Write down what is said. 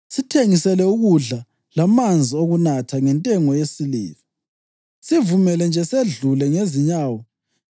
Sithengisele ukudla lamanzi okunatha ngentengo yesiliva. Sivumele nje sedlule ngezinyawo,